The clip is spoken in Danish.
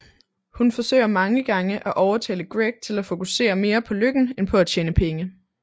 Hun forsøger mange gange at overtale Greg til at fokusere mere på lykken end på at tjene penge